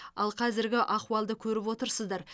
ал қазіргі ахуалды көріп отырсыздар